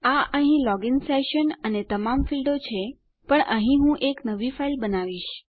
આ અહીં login session અને તમામ ફીલ્ડો છે પણ અહીં હું એક નવી ફાઈલ બનાવીશ